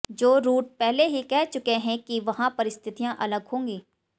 जो रूट पहले ही कह चुके हैं कि वहां परिस्थितियां अलग होंगी